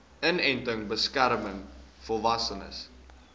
inenting beskerm volwassenes